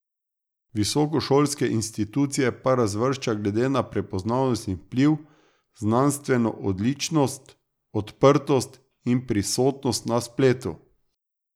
Visokošolske institucije pa razvršča glede na prepoznavnost in vpliv, znanstveno odličnost, odprtost in prisotnost na spletu.